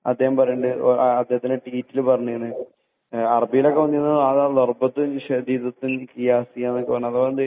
അദ്ദേഹം പറയുന്നുണ്ട് അദ്ദേഹത്തിന്റെ ട്വിറ്റിൽ പറഞ്ഞിട്ടുണ്ട്. അറബികളൊക്കെ വന്നിട്ടുള്ള നാടാണല്ലോ ..